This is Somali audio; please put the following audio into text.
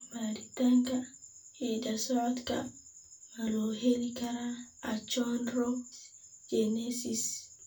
Baaritaanka hidda-socodka ma loo heli karaa achondrogenesis?